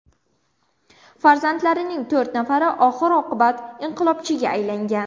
Farzandlarining to‘rt nafari oxir-oqibat inqilobchiga aylangan.